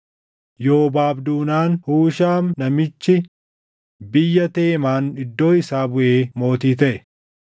Yoobaab duunaan Hushaam namichi biyya Teemaan iddoo isaa buʼee mootii taʼe.